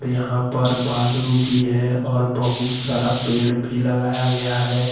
यहां पर बालू भी है और बहुत सारा पेड़ भी लगाया गया है।